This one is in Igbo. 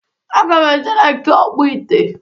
Aga m eje na nke ọkpụ ite.